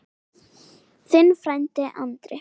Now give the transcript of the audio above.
Þinn frændi Andri.